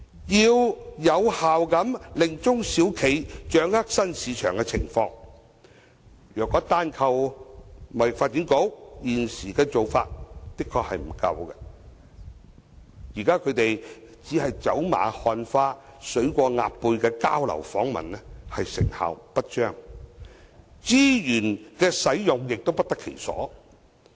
要有效令中小企掌握新市場的情況，如果單靠香港貿易發展局現時的做法，的確並不足夠，現在只是走馬看花、水過鴨背的交流訪問成效不彰，資源使用亦不得其所。